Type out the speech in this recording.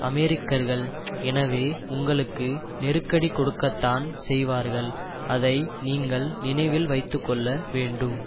அமெரிக்கர்கள் எனவே உங்களுக்கு நெருக்கடி கொடுக்கத்தான் செய்வார்கள் அதை நீங்கள் நினைவில் வைத்து கொள்ள வேண்டும்